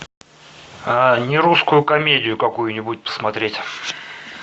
не русскую комедию какую нибудь посмотреть